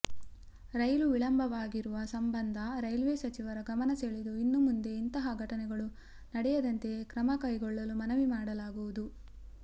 ರೈಲು ವಿಳಂಬವಾಗಿರುವ ಸಂಬಂಧ ರೈಲ್ವೆ ಸಚಿವರ ಗಮನಸೆಳೆದು ಇನ್ನು ಮುಂದೆ ಇಂತಹ ಘಟನೆಗಳು ನಡೆಯದಂತೆ ಕ್ರಮಕೈಗೊಳ್ಳಲು ಮನವಿ ಮಾಡಲಾಗುವುದು